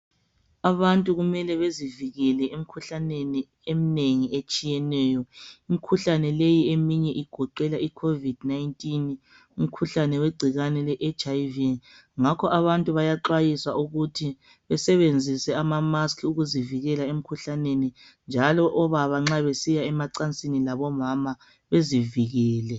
Abantu kumele bezivikele emikhuhlaneni eminengi etshiyeneyo. Imikhuhlane leyi kugoqela icovid 19, umkhuhlane weHIV . Ngakho abantu bayakhuthazwa ukuthi basebenzise amamaski bezivikele, njalo obaba nxa besiya emacansini bezivikele.